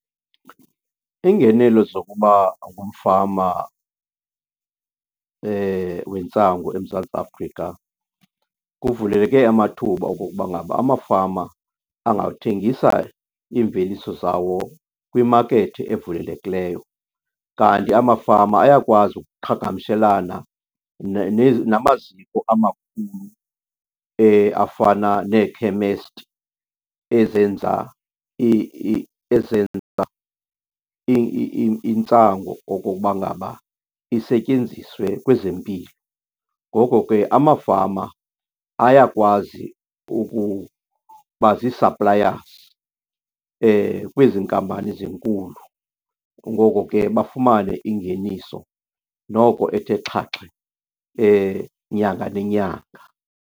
Iingenelo zokuba ngumfama wentsangu eMzantsi Afrika kuvuleke amathuba okokuba ngaba amafama angathengisa iimveliso zawo kwimakethi evulelekileyo. Kanti amafama ayakwazi ukuqhagamshelana namaziko amakhulu afana neekhemesti ezenza ezenza intsangu okokuba ngaba isetyenziswe kwezempilo. Ngoko ke amafama ayakwazi ukuba zii-suppliers kwezi nkampani zinkulu, ngoko ke bafumane ingeniso noko ethe xhaxhe nyanga nenyanga.